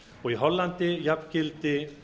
og í hollandi jafngildi